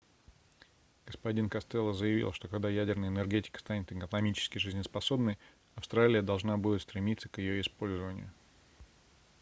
г-н костелло заявил что когда ядерная энергетика станет экономически жизнеспособной австралия должна будет стремиться к её использованию